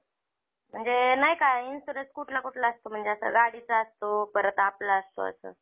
म्हणजे नाही का insurance कुठलं कुठलं असतो म्हणजे असं गाडीचा असतो परत आपला असतो असं